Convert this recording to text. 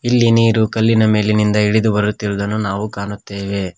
ಇಲ್ಲಿ ನೀರು ಕಲ್ಲಿನ ಮೇಲಿನಿಂದ ಇಳಿದು ಬರುತ್ತಿರುದನ್ನು ನಾವು ಕಾಣುತ್ತೇವೆ.